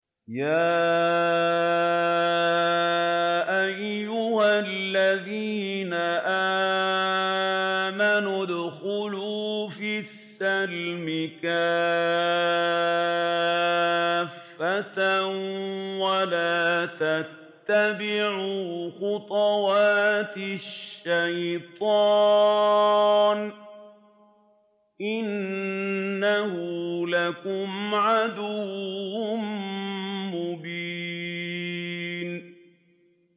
يَا أَيُّهَا الَّذِينَ آمَنُوا ادْخُلُوا فِي السِّلْمِ كَافَّةً وَلَا تَتَّبِعُوا خُطُوَاتِ الشَّيْطَانِ ۚ إِنَّهُ لَكُمْ عَدُوٌّ مُّبِينٌ